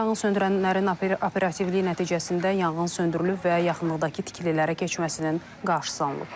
Yanğınsöndürənlərin operativliyi nəticəsində yanğın söndürülüb və yaxınlıqdakı tikililərə keçməsinin qarşısı alınıb.